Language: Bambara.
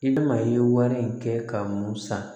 I bɛna i ye wari in kɛ ka mun san